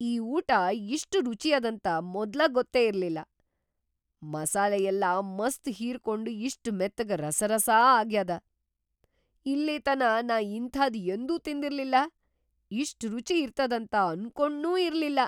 ಈ ಊಟಾ ಇಷ್ಟ್‌ ರುಚಿಯದಂತ ಮೊದ್ಲ ಗೊತ್ತೇ ಇರ್ಲಿಲ್ಲಾ; ಮಸಾಲಿಯೆಲ್ಲಾ ಮಸ್ತ್‌ ಹೀರ್ಕೊಂಡ್‌ ಇಷ್ಟ್‌ ಮೆತ್ತಗ ರಸಾರಸಾ ಆಗ್ಯಾದ, ಇಲ್ಲಿತನಾ ನಾ ಇಂಥಾದ್‌ ಯಂದೂ ತಿಂದಿರ್ಲಿಲ್ಲಾ, ಇಷ್ಟ್‌ ರುಚಿ ಇರ್ತದಂತ ಅನ್ಕೊಂಡ್ನೂ ಇರ್ಲಿಲ್ಲಾ.